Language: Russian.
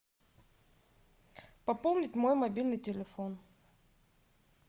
пополнить мой мобильный телефон